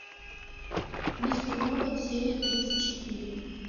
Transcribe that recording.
мистер робот серия тридцать четыре